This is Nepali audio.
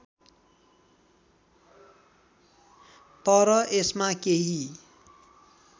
तर यसमा केही